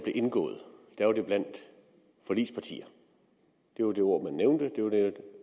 indgået var det blandt forligspartier det var det ord man nævnte det var det